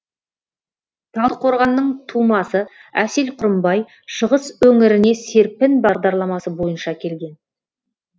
талдықорғанның тумасы әсел құрымбай шығыс өңіріне серпін бағдарламасы бойынша келген